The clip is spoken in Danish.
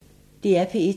DR P1